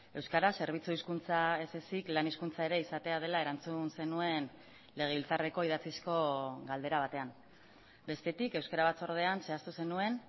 euskara zerbitzu hizkuntza ezezik lan hizkuntza ere izatea dela erantzun zenuen legebiltzarreko idatzizko galdera batean bestetik euskara batzordean zehaztu zenuen